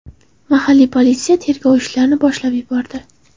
Mahalliy politsiya tergov ishlarini boshlab yubordi.